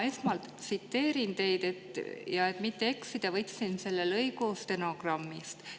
Ma esmalt tsiteerin teid, ja et mitte eksida, võtsin selle lõigu stenogrammist.